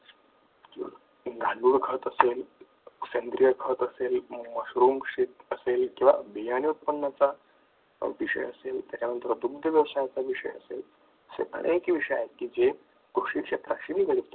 गांडूळ खत असेल सेंद्रिय खत असेल किंवा बियाणे उत्पन्नाचा त्याच्यानंतर दुग्ध व्यवसायाचा विषय असेल असे अनेक विषय आहेत की जे शेती क्षेत्राशी निगडित आहेत